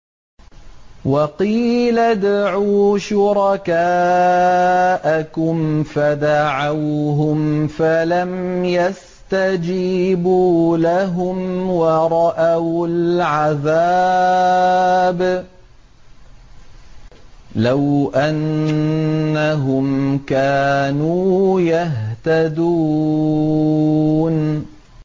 وَقِيلَ ادْعُوا شُرَكَاءَكُمْ فَدَعَوْهُمْ فَلَمْ يَسْتَجِيبُوا لَهُمْ وَرَأَوُا الْعَذَابَ ۚ لَوْ أَنَّهُمْ كَانُوا يَهْتَدُونَ